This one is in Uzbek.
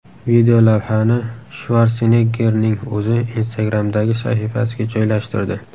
Videolavhani Shvarseneggerning o‘zi Instagram’dagi sahifasiga joylashtirdi.